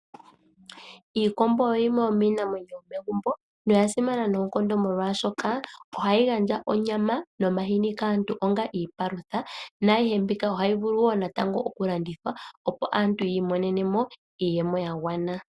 Iikombo oyo yimwe yoominamwenyo , noya simana noonkondo mokwaashoka ohayi gandja onyama nomahini kaantu onga iipalutha. Naayihe mbika natango ohayi vulu wo oku landithwa opo aantu yi imonene mo iiyemo ya gwana.